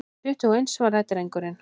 Tuttugu og eins, svaraði drengurinn.